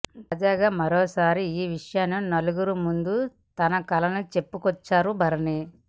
తాజాగా మరోసారి ఆ విషయాన్ని నలుగురి ముందు తన కలను చెప్పుకొచ్చారు భరణి